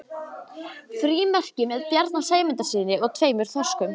Frímerki með Bjarna Sæmundssyni og tveimur þorskum.